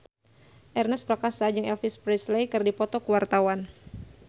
Ernest Prakasa jeung Elvis Presley keur dipoto ku wartawan